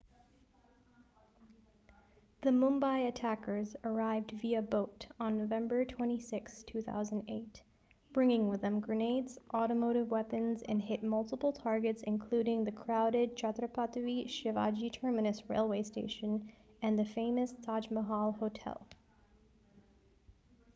the mumbai attackers arrived via boat on novemeber 26 2008 bringing with them grenades automatic weapons and hit multiple targets including the crowded chhatrapati shivaji terminus railway station and the famous taj mahal hotel